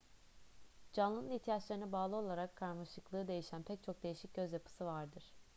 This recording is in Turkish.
canlının ihtiyaçlarına bağlı olarak karmaşıklığı değişen pek çok değişik göz yapısı vardır